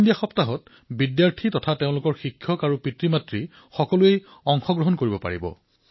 fit India সপ্তাহত বিদ্যাৰ্থীসকলৰ সৈতে তেওঁলোকৰ শিক্ষক আৰু পিতৃমাতৃয়েও অংশগ্ৰহণ কৰিব পাৰে